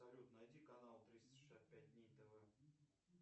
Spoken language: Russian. салют найди канал триста шестьдесят пять дней тв